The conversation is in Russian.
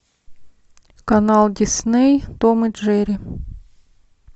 канал дисней том и джерри